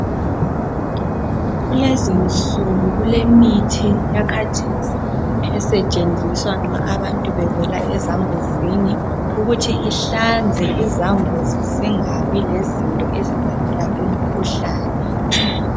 Kulezinsuku kulemithi yakhathesi esetshenziswa nxa abantu bevela ezambuzini ukuthi ihlanzeke izambuzi zingabe lezinto ezibangela imikhuhlane